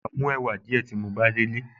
Màá mú ẹ̀wà díẹ̀ tí mo bá délé